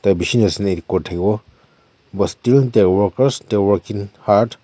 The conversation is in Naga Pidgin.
bishi nasailae thakiwo but still the workers they are working hard .